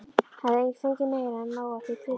Hafði fengið meira en nóg af því kryddi.